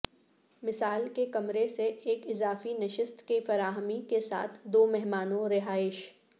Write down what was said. مثال کے کمرے سے ایک اضافی نشست کی فراہمی کے ساتھ دو مہمانوں رہائش